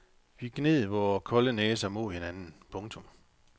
Vi gned vore kolde næser mod hinanden. punktum